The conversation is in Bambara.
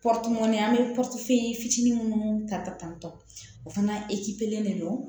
an bɛ fitinin minnu ta ka tantɔ o fana de don